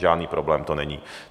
Žádný problém to není.